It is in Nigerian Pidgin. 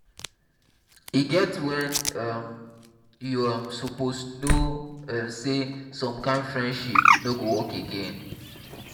e get when um you um suppose know um sey some kind friendship no go work again